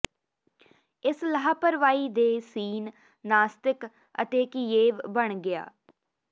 ਇਸ ਲਾਪਰਵਾਹੀ ਦੇ ਸੀਨ ਨਾਸਤਿਕ ਅਤੇ ਕਿਯੇਵ ਬਣ ਗਿਆ